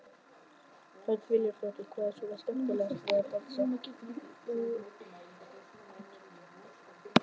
Hödd Vilhjálmsdóttir: Hvað er svona skemmtilegt við að dansa?